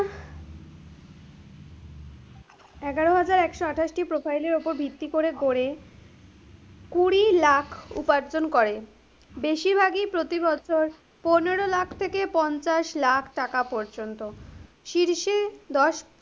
এগারো হাজার একশো আঠাশ টি profile এর উপর ভিত্তি করে গড়ে, কুড়ি lakh উপার্জন করে, বেশিরভাগই প্রতি বছর পনেরো lakh থেকে পঞ্চাশ lakh টাকা পর্যন্ত, শীর্ষে দশ,